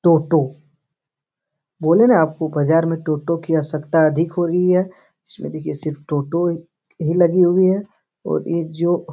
टोटो बोले ना आपको बाजार में टोटो की आवश्यकता अधिक हो रही है इसमें देखिए सिर्फ टोटो ही लगी हुई है और ये जो --